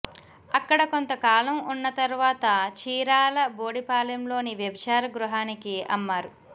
అక్కడ కొంతకాలం ఉన్న తర్వాత చీరాల బోడిపాలెంలోని వ్యభిచార గృహానికి అమ్మారు